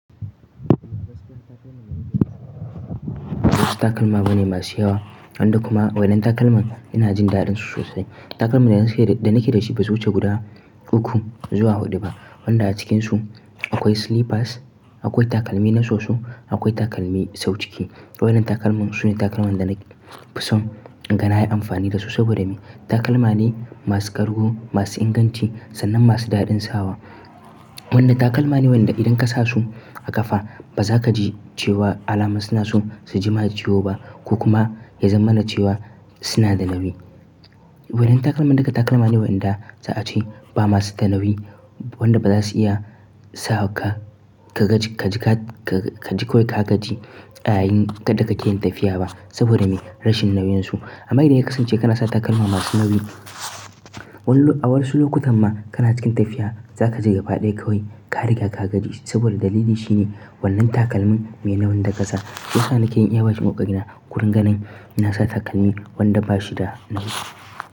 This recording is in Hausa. Wasu takalma ba ne masu yawa, wanda kuma waɗannan takalma ina jin daɗinsu sosai. Takalman da nake da shi ba su wuce guda uku zuwa huɗu ba, wanda a cikinsu akwai slippers, akwai takalmi na soso, akwai takalmi sau ciki. Wannan takalma su ne takalman da na fi son da na yi amfani da su saboda me? Takalma ne masu kargu, masu inganci sannan masu daɗin sawa. Wannan takalma ne wanda idan ka sa su a ƙafa ba za ka ji cewa alama suna so su jima da ciwo ba ko kuma ya zamanar cewa suna da nawi. Waɗannan takalma daga takalma ne wanda za a ce ba masu da nauwi, wanda ba za su iya sa ka, ka ji kawai ka gaji yayin da ka ke yin tafiya ba saboda me? Rashin nawinsu. Amma idan ya kasance kana sa takalma masu nauyi, a wasu lokutan ma kana cikin tafiya za ka je gaba ɗaya kawai ka riga ka gaji saboda dalili shine wannan takalmin mai nauyin da ƙasa. To shi yasa nake yi iya ƙoƙari na koyon ganin na sa takalmi wanda ba shi da nawi.